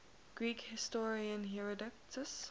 greek historian herodotus